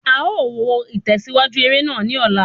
A ó wo itẹsiwaju eré náà ni ola